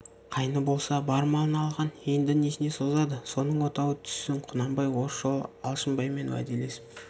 қайны болса бар малын алған енді несіне созады соның отауы түссін құнанбай осы жолы алшынбаймен уәделесіп